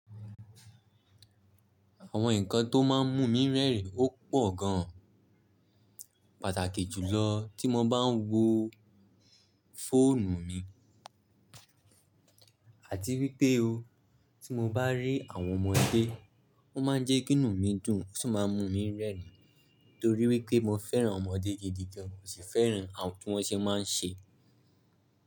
Àwọn nǹkan tó máa ń mú mi rẹ́rìn ó pọ̀ gan, pàtàkì jùlọ tí mo bá ń wo fóònù mi àti wípé o, tí mo bá rí àwọn ọmọdé, wón máa ń jẹ́ kí inú mi dùn ó sì máa ń mú mi rẹ́rìn torí wípé mo fẹ́ràn ọmọdé gidi gan, mò sì fẹ́ràn tí wón ṣe máa ń ṣe.